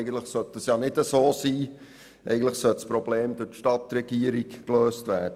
Eigentlich sollte das ja nicht so sein, vielmehr sollte dieses Problem durch die Stadtregierung gelöst werden.